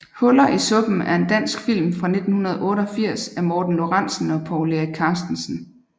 Huller i suppen er en dansk film fra 1988 af Morten Lorentzen og Povl Erik Carstensen